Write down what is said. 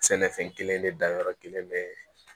Sɛnɛfɛn kelen de danyɔrɔ kelen bɛ